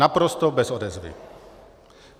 Naprosto bez odezvy.